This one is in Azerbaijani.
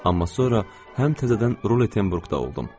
Amma sonra həm təzədən Rulettenburqda oldum.